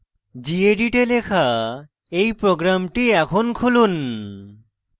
gedit এ লেখা এই program এখন লিখুন